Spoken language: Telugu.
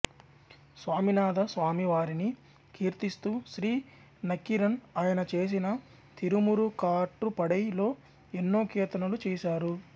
స్వామినాథ స్వామి వారిని కీర్తిస్తూ శ్రీ నక్కీరన్ ఆయన చేసిన తిరుమురుకాట్రుపడై లో ఎన్నో కీర్తనలు చేశారు